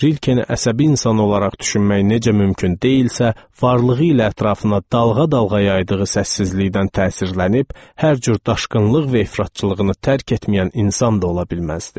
Rilkeni əsəbi insan olaraq düşünmək necə mümkün deyilsə, varlığı ilə ətrafına dalğa-dalğa yaydığı səssizlikdən təsirlənib hər cür daşqınlıq və ifratçılığını tərk etməyən insan da ola bilməzdi.